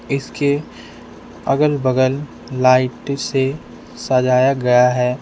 इसके अगल बगल लाइट से सजाया गया है।